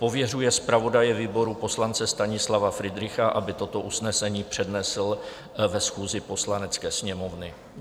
Pověřuje zpravodaje výboru poslance Stanislava Fridricha, aby toto usnesení přednesl na schůzi Poslanecké sněmovny."